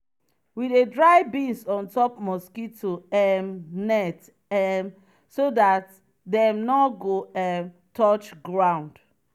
we dey dry beans on top mosquito um net um so that dem nor go um touch ground.